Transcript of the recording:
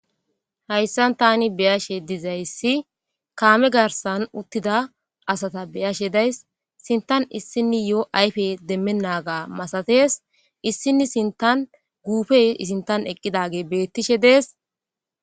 Haysan Tani beyashe dizaysi kame garsan uttida asata beyashe days sinthan issiniyo ayfry demenaga masates issini sinthan gupey I sinthan eqidagey betishe dees